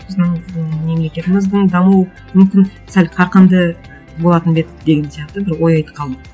біздің м мемлекетіміздің дамуы мүмкін сәл қарқынды болатын ба еді деген сияқты бір ой айтып қалды